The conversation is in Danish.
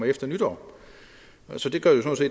efter nytår så det gør